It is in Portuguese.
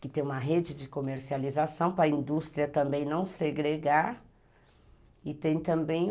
que tem uma rede de comercialização para a indústria também não segregar e tem também